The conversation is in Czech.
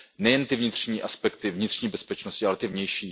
Nejen ty vnitřní aspekty vnitřní bezpečnosti, ale i ty vnější.